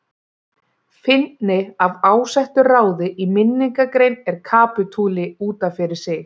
Fyndni af ásettu ráði í minningargrein er kapítuli út af fyrir sig.